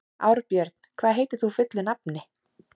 Árbjörn, hvað heitir þú fullu nafni?